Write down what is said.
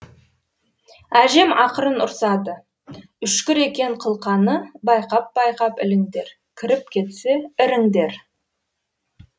әжем ақырын ұрсады үшкір екен қылқаны байқап байқап іліңдер кіріп кетсе іріңдер